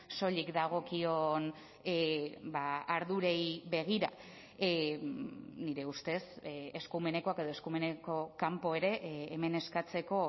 soilik dagokion ardurei begira nire ustez eskumenekoak edo eskumeneko kanpo ere hemen eskatzeko